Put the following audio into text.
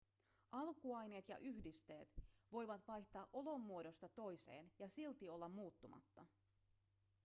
alkuaineet ja yhdisteet voivat vaihtaa olomuodosta toiseen ja silti olla muuttumatta